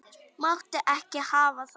Máttu ekki hafa það.